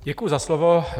Děkuji za slovo.